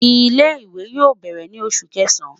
Ile-iwe yoo bẹrẹ ni Oṣu Kẹsan